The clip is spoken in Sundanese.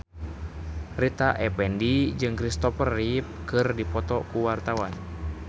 Rita Effendy jeung Kristopher Reeve keur dipoto ku wartawan